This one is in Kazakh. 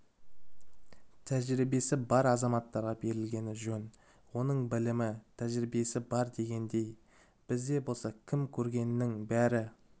тәжірибесі бар азаматтарға берілгені жөн оның білімі тәжірибесі бар дегендей бізде болса кім көрінгеннің бәрі